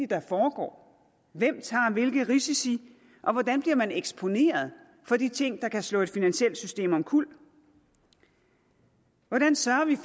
der foregår hvem tager hvilke risici og hvordan bliver man eksponeret for de ting der kan slå et finansielt system omkuld hvordan sørger vi